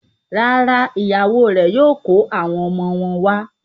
Rárá, ìyàwó rẹ̀ yóò kó àwọn ọmọ wọn wá.